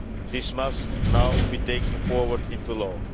This must now be taken forward into law.